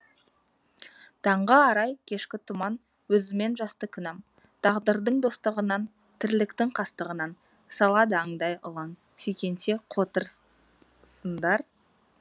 таңғы арай кешкі тұман өзіммен жасты күнәм тағдырдың достығынан тірліктің қастығынан салады аңдай ылаң сүйкенсе қотыр сындар